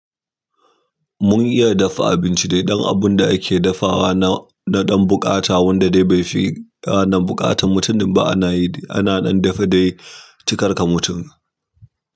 Mun iya dafa abinci dai, don abun da ake dafawa na ɗan buƙata wanda dai bai fi ranan buƙatan mutumin ba ana ci, ana ɗan dafe dai ci karka mutum.